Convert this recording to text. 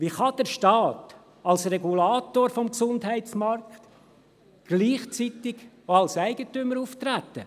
«Wie kann der Staat als Regulator des Gesundheitsmarkts gleichzeitig auch als Eigentümer auftreten?